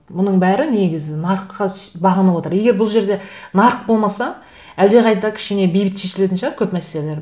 мұның бәрі негізі нарыққа бағанып отыр егер бұл жерде нарық болмаса әлдеқайда кішкене бейбіт шешілетін шығар көп мәселелер